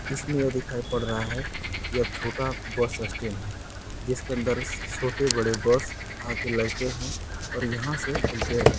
इसमे यह दिखाई पड़ रहा है यह छोटा बस स्टेन है जिसके अंदर छोटे-बड़े बस आ के लगते है और यहाँ से खुलते है ।